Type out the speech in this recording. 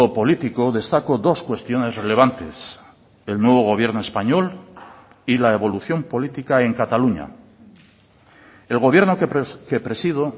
político destaco dos cuestiones relevantes el nuevo gobierno español y la evolución política en cataluña el gobierno que presido